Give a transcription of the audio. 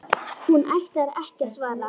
Hún ætlar ekki að svara.